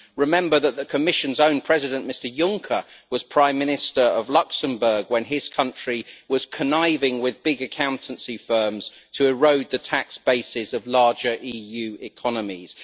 Remember that the Commission's own President, Mr Juncker, was Prime Minister of Luxembourg when his country was conniving with big accountancy firms to erode the tax bases of larger EU economies.